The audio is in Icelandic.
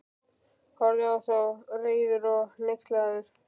Horfði á þá, reiður og hneykslaður.